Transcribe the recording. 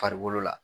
Farikolo la